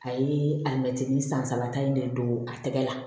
A ye alimɛtinin san saba ta in de don a tɛgɛ la